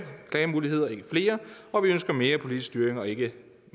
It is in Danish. klagemuligheder ikke flere og vi ønsker mere politisk styring og ikke